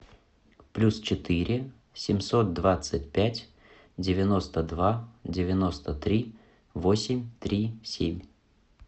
плюс четыре семьсот двадцать пять девяносто два девяносто три восемь три семь